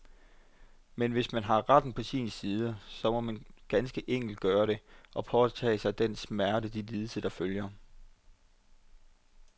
Men hvis man har retten på sin side, så må man ganske enkelt gøre det, og påtage sig den smerte og de lidelser, der følger.